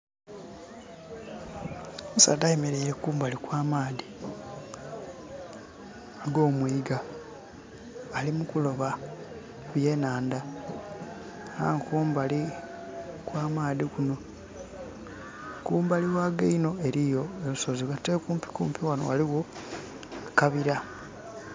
Omusaadha ayemeleire kumbali kwa amaadhi agomwiga alimukuloba byenhandha aye kumbali kw'amaadhi kunho kumbali ghago inho ghaligho olusozi aye okumpikumpi ghanho ghaligo akabira.